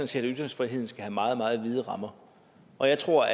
set at ytringsfriheden skal have meget meget vide rammer og jeg tror